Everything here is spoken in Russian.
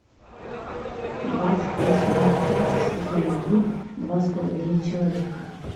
двадцать восьмая часть сезон один два с половиной человека